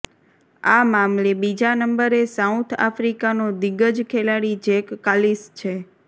આ મામલે બીજા નંબરે સાઉથ આફ્રિકાનો દિગ્ગજ ખેલાડી જેક કાલિસ છે